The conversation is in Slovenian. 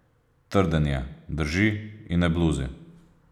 Trden je, drži in ne bluzi.